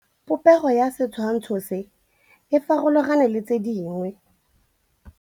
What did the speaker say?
Popêgo ya setshwantshô se, e farologane le tse dingwe.